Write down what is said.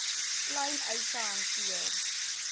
klein eise hanteer